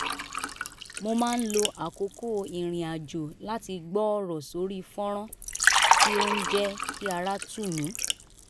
mo máa ń lo àkókò ìrìnrìn àjò láti gbọ́ ọ̀rọ̀ sórí fọ́nrán tí ó ń jẹ́ kí ara tù mí